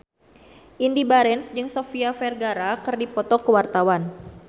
Indy Barens jeung Sofia Vergara keur dipoto ku wartawan